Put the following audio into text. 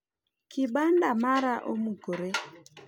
kibanda mara omukore